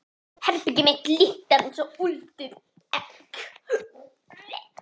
Herbergið mitt lyktar einsog úldið egg.